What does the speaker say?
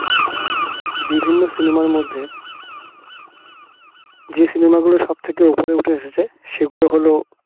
বিভিন্ন cinema র মধ্যে যে cinema গুলো সব থেকে উপরে উঠে এসেছে সেগুলো হলো